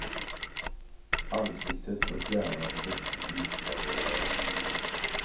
Ansiktets och hjärnans veck djupnar med åren.